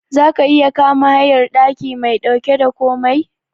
Zaka iya kama hayar daki mai dauke da komai?